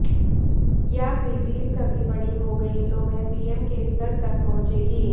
या फिर डील कभी बड़ी हो गई तो वह पीएम के स्तर तक पहुंचेगी